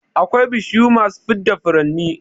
Akwai bishiyu masu fidda furanni